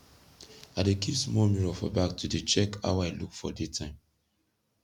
i dey kip smoll mirror for bag to dey check how i look for day time